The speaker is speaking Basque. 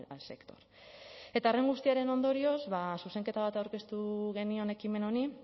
al sector eta horren guztiaren ondorioz zuzenketa bat aurkeztu genion ekimen honi